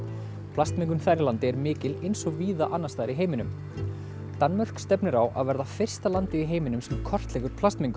plastmengun þar í landi er mikil eins og víða annars staðar í heiminum Danmörk stefnir á að verða fyrsta landið í heiminum sem kortleggur plastmengun